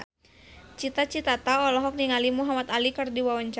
Cita Citata olohok ningali Muhamad Ali keur diwawancara